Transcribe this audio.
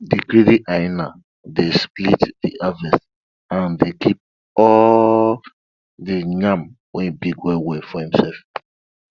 de greedy hyena dey split de harvest and dey keep all de yam wey big well well for himself